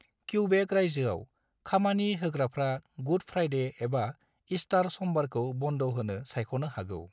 Quebec रायजोआव, "खामानि होग्राफ्रा गुड फ्राइडे एबा ईस्टार समबारखौ बन्द होनो सायख'नो हागौ।"